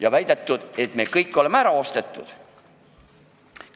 On väidetud, et me kõik oleme ära ostetud.